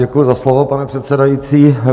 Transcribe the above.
Děkuji za slovo, pane předsedající.